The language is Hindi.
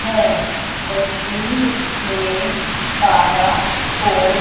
है वकील ने काला कोट --